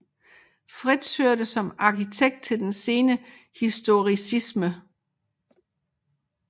Fritz hørte som arkitekt til den sene historicisme